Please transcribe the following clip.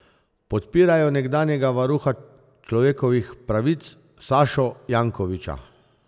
Podpirajo nekdanjega varuha človekovih pravic Sašo Jankovića.